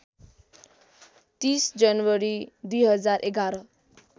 ३० जनवरी २०११